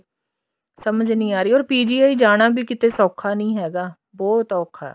ਸਮਝ ਨੀ ਆਹ ਰਹੀ or PGI ਜਾਣਾ ਵੀ ਕਿਤੇ ਸੋਖਾ ਨੀ ਹੈਗਾ ਬਹੁਤ ਔਖਾ